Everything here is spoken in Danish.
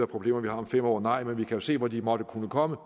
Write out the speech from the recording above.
problemer vi har om fem år nej men vi kan jo se hvor de måtte kunne komme